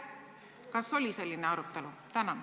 Kas oli selline arutelu?